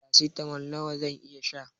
Farasitamol nawa zan iya sha